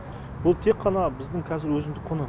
бұл тек қана біздің қазір өзіндік құны